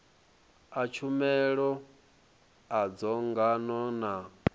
a tshumelo a dzangano na